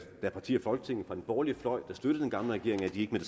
er partier i folketinget fra den borgerlige fløj der støttede den gamle regering